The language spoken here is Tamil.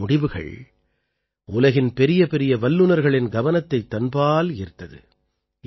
இந்த முடிவுகள் உலகின் பெரியபெரிய வல்லுநர்களின் கவனத்தைத் தன்பால் ஈர்த்தது